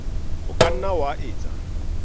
o ka nna wa etsa